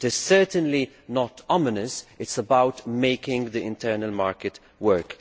It is certainly not ominous it is about making the internal market work.